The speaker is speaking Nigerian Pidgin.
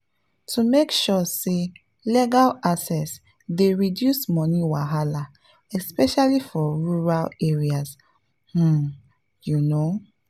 to make sure say legal access dey reduce money wahala especially for rural areas pause you know.